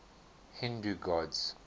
hindu gods